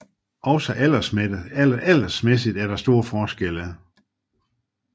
Også aldersmæssigt er der store forskelle